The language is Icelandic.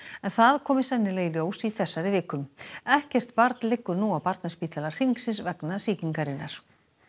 en það komi sennilega í ljós í þessari viku ekkert barn liggur nú á Barnaspítala Hringsins vegna sýkingarinnar